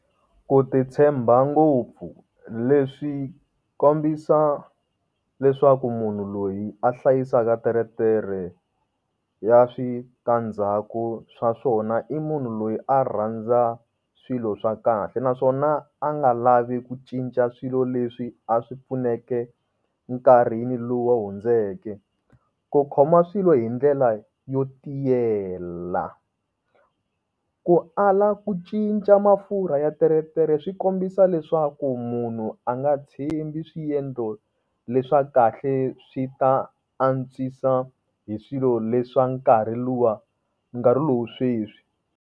Ku ti tshemba ngopfu leswi kombisa leswaku munhu loyi a hlayisaka teretere ya switandzhaku swa swona i munhu loyi a rhandza swilo swa kahle, naswona a nga lavi ku cinca swilo leswi a swi pfuneke nkarhi lowu hundzeke. Ku khoma swilo hi ndlela yo tiyela, ku ala ku cinca mafurha ya teretere swi kombisa leswaku munhu a nga tshembi swiendlo leswa kahle, swi ta antswisa hi swilo leswa nkarhi luwa, nkarhi lowa sweswi.